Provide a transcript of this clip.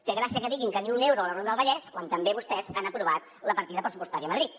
té gràcia que diguin que ni un euro a la ronda del vallès quan també vostès han aprovat la partida pressupostària a madrid